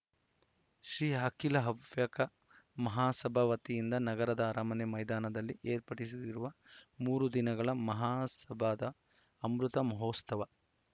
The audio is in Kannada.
ಶ್ರೀ ಅಖಿಲ ಹವ್ಯಕ ಮಹಸಭಾ ವತಿಯಿಂದ ನಗರದ ಅರಮನೆ ಮೈದಾನದಲ್ಲಿ ಏರ್ಪಡಿಸಿರುವ ಮೂರು ದಿನಗಳ ಮಹಾಸಭಾದ ಅಮೃತ ಮಹೋತ್ಸವ